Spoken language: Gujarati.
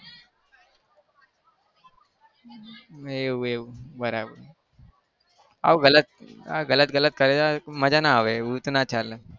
એવું એવું બરાબર આવું ગલત આ ગલત ગલત કરે જાય મજા ના આવે એવું તો ના ચાલે.